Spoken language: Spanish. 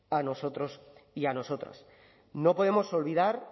a nosotros y a nosotras no podemos olvidar